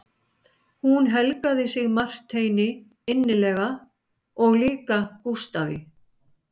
Hún helgaði sig Marteini innilega og líka Gústafi